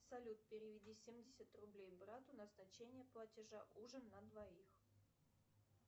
салют переведи семьдесят рублей брату назначение платежа ужин на двоих